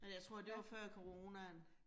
Men jeg tror det var før coronaen